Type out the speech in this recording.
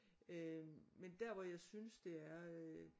Øh men der hvor jeg synes det er